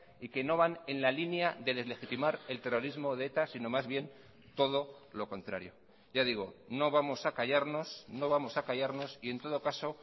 y que no van en la línea de deslegitimar el terrorismo de eta sino más bien todo lo contrario ya digo no vamos a callarnos no vamos a callarnos y en todo caso